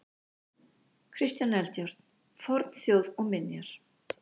Kristján Eldjárn: Fornþjóð og minjar.